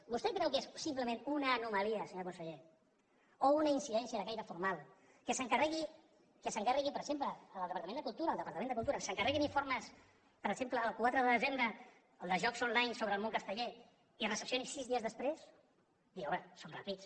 vostè creu que és simplement una anomalia senyor conseller o una incidència de caire formal que s’encarreguin per exemple des del departament de cultura informes per exemple el quatre de desembre el de jocs online sobre el món casteller i es recepcioni sis dies després home som ràpids